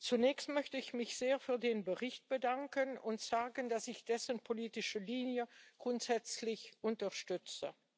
Zunächst möchte ich mich sehr für den Bericht bedanken und sagen, dass ich dessen politische Linie grundsätzlich unterstütze.